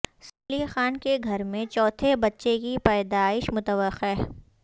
safe Ali Khan کے گھر میں چوتھے بچے کی پیدائش متوقع